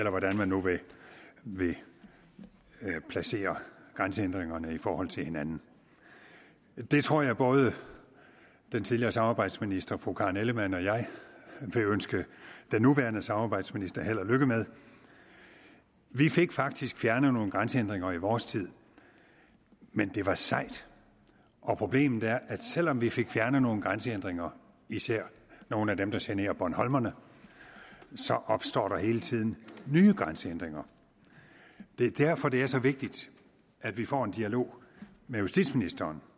af hvordan man nu vil placere grænsehindringerne i forhold til hinanden det tror jeg at både den tidligere samarbejdsminister fru karen ellemann og jeg vil ønske den nuværende samarbejdsminister held og lykke med vi fik faktisk fjernet nogle grænsehindringer i vores tid men det var sejt og problemet er at selv om vi fik fjernet nogle grænsehindringer især nogle af dem der generer bornholmerne så opstår der hele tiden nye grænsehindringer det er derfor det er så vigtigt at vi får en dialog med justitsministeren